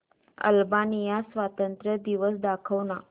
Albania स्वातंत्र्य दिवस दाखव ना